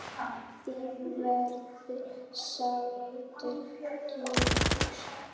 Þín verður sárt saknað.